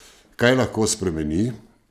Kaj lahko spremeni?